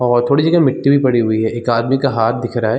और थोड़ी जगह मिट्टी भी पड़ी हुई है एक आदमी का हाथ दिख रहा है।